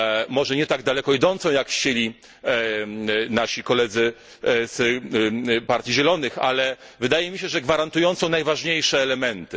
Może nie tak daleko idącą, jak chcieli nasi koledzy z partii Zielonych, ale wydaje mi się, że gwarantującą najważniejsze elementy.